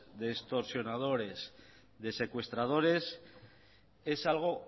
de extorsionadores de secuestradores es algo